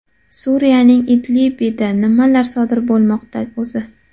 Suriyaning Idlibida nimalar sodir bo‘lmoqda o‘zi?